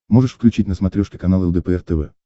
можешь включить на смотрешке канал лдпр тв